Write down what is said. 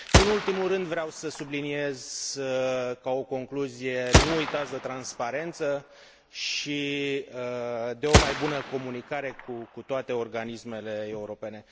Nu în ultimul rând, vreau să subliniez, ca o concluzie nu uitați de transparență și de o mai bună comunicare cu toate organismele europene.